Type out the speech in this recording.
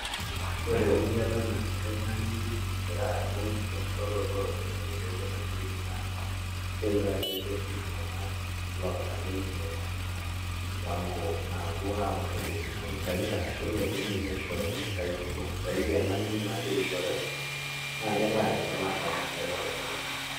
Ore euriata naya oltung'ani egira aibung' enkishooroto ooropiyiani tewuei naboreki naa keure ajo ketii iltung'anak loota ninche mipango naapuo aapurrorie nena pisaai arashu elo toi ninye aishooyo mpisaai kumok saidi alang' duo naagira aishooyo naa kelo ayau olarrabal tiatua iltung'anak.